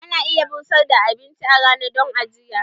Ana iya busar da abinci a rana don ajiya.